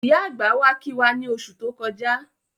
Ìyá àgbà wá kí wá ní oṣù tó kọjá